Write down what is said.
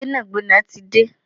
Gbẹ́nàgbẹ́nà tí de